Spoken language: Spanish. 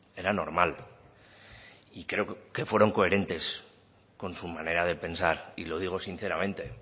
era normal y creo que fueron coherentes con su manera de pensar y lo digo sinceramente